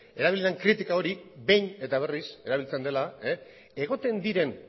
erabili den kritika hori behin eta berriz erabiltzen dela egoten diren